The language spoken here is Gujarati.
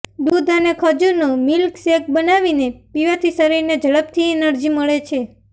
દૂધ અને ખજૂરનો મિલ્કશેક બનાવીને પીવાથી શરીરને ઝડપથી એનર્જી મળે છે